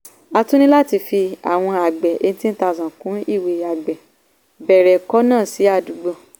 a tún ní láti fi àwọn àgbẹ̀ eighteen thousand kún ìwé àgbẹ̀ bẹ̀rẹ̀ kọ̀nà sí àdúgbò.